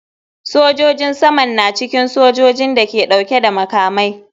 Sojojin saman na cikin sojojin da ke dauke da makamai.